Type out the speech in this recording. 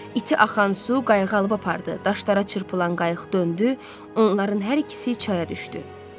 İti axan su qayığı alıb apardı, daşlara çırpılan qayıq döndü, onların hər ikisi çaya düşdü.